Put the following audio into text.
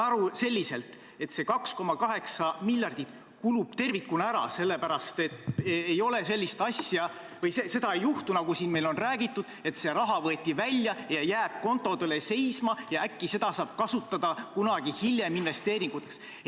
Ma saan aru, et see 2,8 miljardit kulub tervikuna ära, sellepärast et ei ole sellist asja või ei juhtu nii, nagu meile on räägitud, et see raha võeti välja ja see jääb kontodele seisma ja äkki saab seda kunagi hiljem investeeringuteks kasutada.